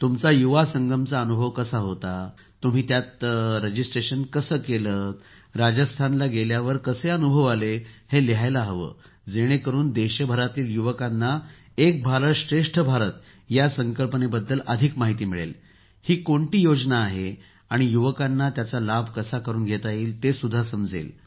तुमचा युवा संगमचा अनुभव कसा होता तुम्ही त्यात नोंदणी कशी केली राजस्थानला गेल्यावर कसे अनुभव आले हे लिहायला हवे जेणेकरून देशभरातील युवकांना एक भारत श्रेष्ठ भारत या संकल्पनेची अधिक माहिती मिळेल ही कोणती योजना आहे आणि युवकांना त्याचा लाभ कसा करून घेता येईल ते समजेल